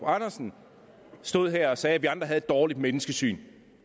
andersen stod her og sagde at vi andre havde et dårligt menneskesyn